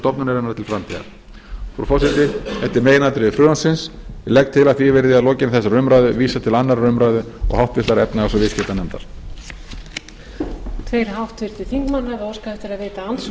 stofnunarinnar til framtíðar frú forseti þetta eru meginatriði frumvarpsins ég legg til að því verði að lokinni þessari umræðu vísað til annarrar umræðu og háttvirtrar efnahags og viðskiptanefndar